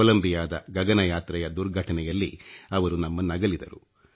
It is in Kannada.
ಕೊಲಂಬಿಯಾದ ಗಗಯಾತ್ರೆಯ ದುರ್ಘಟನೆಯಲ್ಲಿ ಅವರು ನಮ್ಮನ್ನಗಲಿದರು